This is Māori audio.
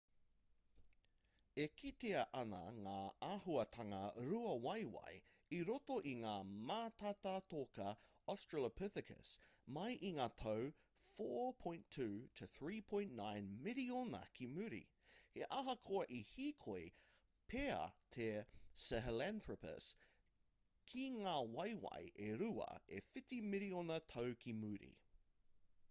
e kitea ana ngā āhuatanga rua-waewae i roto i ngā mātātoka australopithecus mai i ngā tau 4.2-3.9 miriona ki muri he ahakoa i hīkoi pea te sahelanthropus ki ngā waewae e rua e whitu miriona tau ki muri